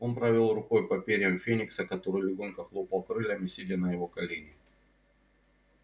он провёл рукой по перьям феникса который легонько хлопал крыльями сидя на его колене